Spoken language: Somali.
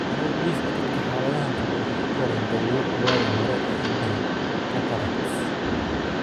Marar dhif ah, dadka xaaladdan qaba waxay ku koraan daruuro oogada hore ee indhaha (cataracts).